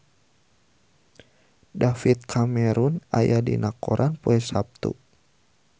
David Cameron aya dina koran poe Saptu